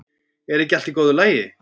Er ekki allt í góðu lagi?